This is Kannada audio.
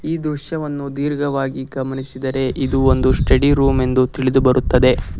ಈ ದೃಶ್ಯವನ್ನು ಧೀರ್ಘವಾಗಿ ಗಮನಿಸಿದರೆ ಇದು ಒಂದು ಸ್ಟಡಿ ರೂಮ್ ಎಂದು ತಿಳಿದುಬರುತ್ತದೆ.